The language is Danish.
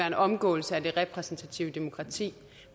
en omgåelse af det repræsentative demokrati